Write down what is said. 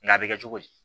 Nka a bɛ kɛ cogo di